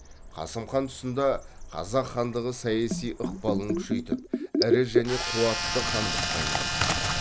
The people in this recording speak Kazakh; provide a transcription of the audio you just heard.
қасым хан тұсында қазақ хандығы саяси ықпалын күшейтіп ірі және қуатты хандыққа айналды